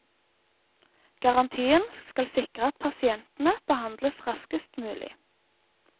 Garantien skal sikre at pasientene behandles raskest mulig.